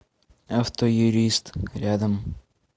автоюрист рядом